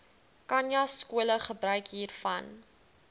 khanyaskole gebruik hiervan